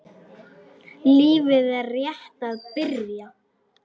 Lífið er rétt að byrja.